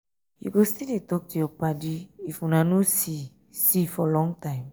you go still dey talk to your paddy if una no see see for long time?